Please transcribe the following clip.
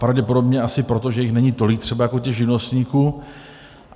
Pravděpodobně asi proto, že jich není třeba tolik jako těch živnostníků.